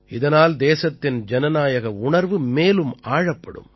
இதனால் தேசத்தின் ஜனநாயக உணர்வு மேலும் ஆழப்படும்